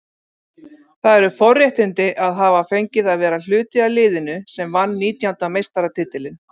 Það eru forréttindi að hafa fengið að vera hluti af liðinu sem vann nítjánda meistaratitilinn.